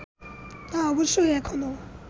তা অবশ্য এখনও